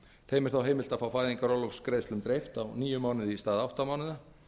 þeim er þá heimilt að fá fæðingarorlofsgreiðslum dreift á níu mánuði í stað átta mánaða